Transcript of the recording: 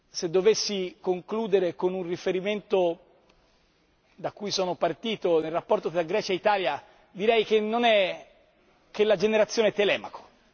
Se dovessi concludere con un riferimento da cui sono partito nel rapporto tra Grecia e Italia direi che è la generazione Telemaco.